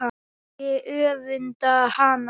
Ég öfunda hana.